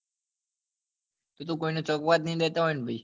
બીજું કોઈને ચગવા જ ની દેતા હોય ને